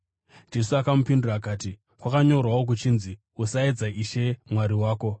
Jesu akamupindura akati, “Kwakanyorwawo kuchinzi, ‘Usaedza Ishe Mwari wako.’ ”